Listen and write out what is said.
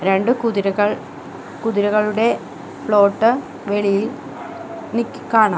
രണ്ട് കുതിരകൾ കുതിരകളുടെ പ്ലോട്ട് വെളിയിൽ നിക് കാണാം.